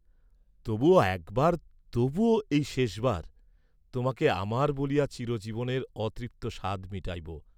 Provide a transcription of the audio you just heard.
তবুও একবার তবুও এই শেষবার তোমাকে ‘আমার’ বলিয়া চিরজীবনের অতৃপ্ত সাধ মিটাইব।